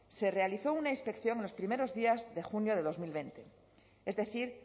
se realizó una inspección en los primeros días de junio de dos mil veinte es decir